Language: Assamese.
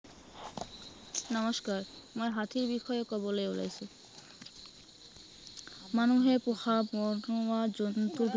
নমস্কাৰ মই হাতীৰ বিষয়ে কবলে ওলাইছো। মানুহে পোহা বনৰীয়া জন্তুৰ